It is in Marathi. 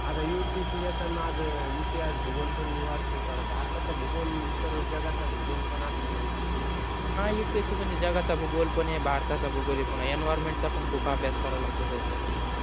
आता upsc च्या तर माझ् इतिहास भूगोल मी वाचतो थोड भारताचा भूगोल सर्व जगाचा भूगोल पण असतो न upsc ला हा upsc म्हणजे जगाचा भूगोल पण आहे भारतचा भूगोल आहे पुन्हा environment चा पण खूप अभ्यास कारवा लागतो त्या साठी